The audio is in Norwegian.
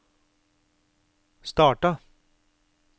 starta